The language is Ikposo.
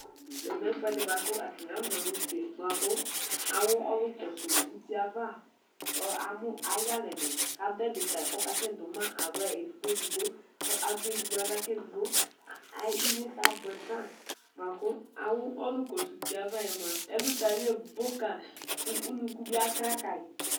Ɛmɛ lɛ ɛfʋɛdi bʋakʋ atani afɔ naxa use bʋakʋ awʋ ɔlʋ kɔsʋ uti yɛ ava amʋ ayʋ iyalɛ ni kʋ adʋ ɛdi kayi kʋ akasɛ dʋma aɣla edigbo edigbo kʋ adʋ edigno aɣla kʋ edigbo inyesɛ abʋɛfa bʋakʋ awʋ ɔlʋ kɔsʋ utiyɛ ava yɛ mʋa ɛlʋtali ɛbo ka kʋ ʋnʋkʋ bi akla kayi